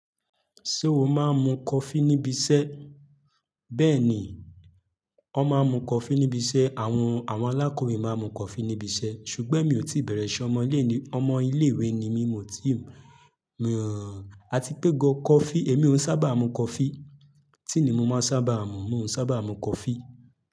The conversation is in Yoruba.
Ṣé o máa ń mu coffee níbi iṣẹ́? Bẹ́ẹ̀ni, ó máa ń mu coffee níbi iṣẹ́. Àwọn, àwọn alákòwé máa ń mu coffee níbi iṣẹ́ ṣùgbọ́n mi ò tí bẹ̀rẹ̀ ise ọmọlé ni, ọmọ ilé ìwé ni mí, mo ti, a ti pé go coffee. Mi ò n sábà mu coffee. Tea ni mo máa n sábà mu? Mi o sábà n mu coffee.